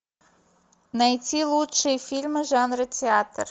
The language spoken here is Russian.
найти лучшие фильмы жанра театр